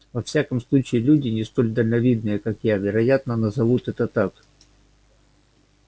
во всяком случае люди не столь дальновидные как я вероятно назовут это так